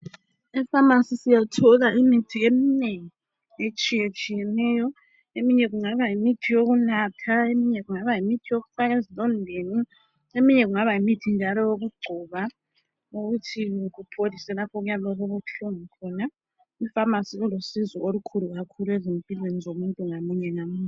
Epharmacy siyathola imithi eminengi etshiyetshiyeneyo. Eminye kungaba yimithi yokunatha. Eminye kungaba yimithi yokufaka ezilondeni. Eminye kungaba yimithi njalo. yokugcoba. Ukuthi kupholise kapho okuyabe kulokhu kubuhlungu khona. Ipharmacy njalo ilusizo ezimpilweni zomuntu munye ngamunye.